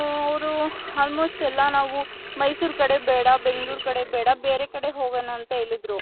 ಹ್ಮ್ ಅವರು almost ಎಲ್ಲಾ ನಾವು ಮೈಸೂರ್ ಕಡೆ ಬೇಡ ಬೆಂಗಳೋರು ಕಡೆ ಬೇಡ ಬೇರೆ ಕಡೆ ಹೋಗೋಣ ಅಂತ ಹೇಳಿದ್ರು .